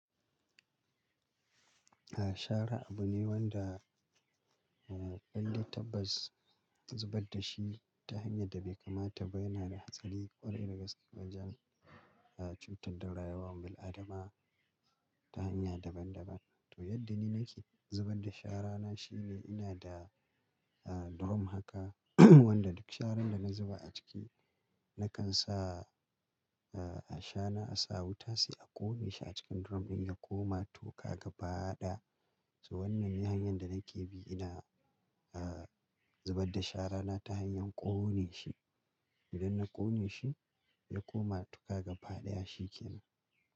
Ah shara abu ne wanda indai tabbas ka zubarda shi ta hanyar da bai kamata ba yana da hatsari ƙwarai da gaske wajen ah cutar da rayuwan bil'adama ta hanya daban daban. To yadda ni nake zubar da shara na shine ina da ah drum haka wanda duk sharan da na zuba a ciki nakan sa ah a shana, a sa wuta sai a ƙone shi a cikin drum ɗin ya koma tuƙa gaba daya. To wannan hanyar da nake bi ina ah zubar da shara na ta hanyar ƙone shi. Idan na ƙone shi ya koma tuƙa gaba daya shikenan.